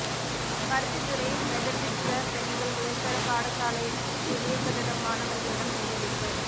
Paruthithurai Methodist பெண்கள் உயர்தர பாடசாலை புதிய கட்டடம் மாணவர்களிடம் கையளிப்பு